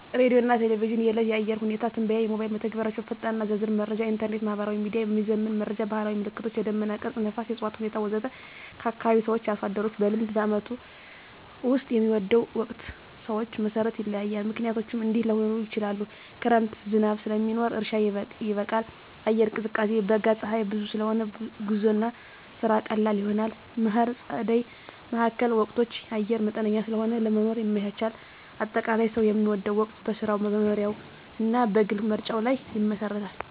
ሬዲዮና ቴሌቪዥን – የዕለት የአየር ሁኔታ ትንበያ ሞባይል መተግበሪያዎች ፈጣንና ዝርዝር መረጃ ኢንተርኔት/ማህበራዊ ሚዲያ – የሚዘመን መረጃ ባህላዊ ምልክቶች – የደመና ቅርጽ፣ ነፋስ፣ የእፅዋት ሁኔታ ወዘተ ከአካባቢ ሰዎች/አርሶ አደሮች – በልምድ በዓመቱ ውስጥ የሚወደው ወቅት ሰዎች መሠረት ይለያያል፣ ምክንያቶቹም እንዲህ ሊሆኑ ይችላሉ፦ ክረምት – ዝናብ ስለሚኖር እርሻ ይበቃል፣ አየር ይቀዝቃዛል። በጋ – ፀሐይ ብዙ ስለሆነ ጉዞና ስራ ቀላል ይሆናል። መከር/ጸደይ (መካከለኛ ወቅቶች) – አየር መጠነኛ ስለሆነ ለመኖር ይመቻቻል። አጠቃላይ፣ ሰው የሚወደው ወቅት በሥራው፣ በመኖሪያው እና በግል ምርጫው ላይ ይመሰረታል።